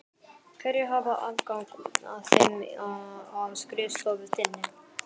Hverjir hafa aðgang að þeim á skrifstofu þinni?